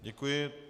Děkuji.